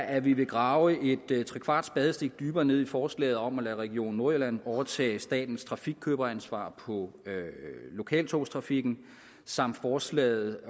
at vi vil grave et trekvart spadestik dybere ned i forslaget om at lade region nordjylland overtage statens trafikkøberansvar på lokaltogstrafikken samt forslaget